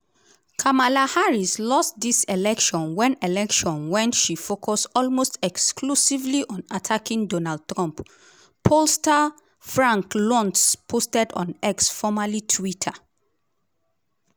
"kamala harris lost dis election wen election wen she focus almost exclusively on attacking donald trump" pollster frank luntz posted on x formerly twitter.